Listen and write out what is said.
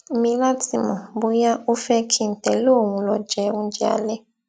mi láti mọ bóyá ó fé kí n tẹlé òun lọ jẹ oúnjẹ alẹ